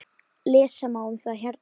Lesa má um það hérna.